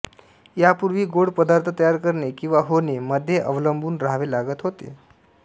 या पूर्वी गोड पदार्थ तयार करणे किंवा होणे मध्ये अवलंबून राहावे लागत होते